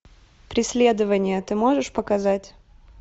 преследование ты можешь показать